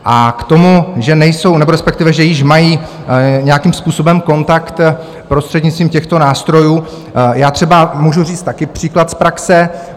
A k tomu, že nejsou, nebo respektive že již mají nějakým způsobem kontakt prostřednictvím těchto nástrojů - já třeba můžu říct taky příklad z praxe.